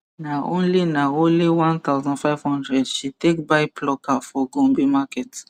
na only na only 1500 she take buy plucker for gombe market